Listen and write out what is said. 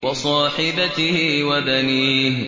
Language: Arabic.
وَصَاحِبَتِهِ وَبَنِيهِ